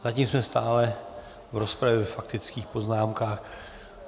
Zatím jsme stále v rozpravě ve faktických poznámkách.